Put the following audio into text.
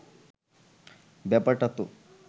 ব্যাপারটা তো